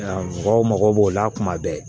Mɔgɔw mago b'o la kuma bɛɛ